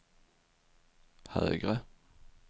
högre